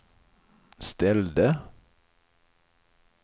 ställde